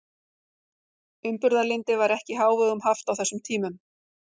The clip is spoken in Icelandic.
Umburðarlyndi var ekki í hávegum haft á þessum tímum.